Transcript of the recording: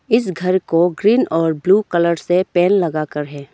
इस घर को ग्रीन और ब्लू कलर से पेन लगाकर है।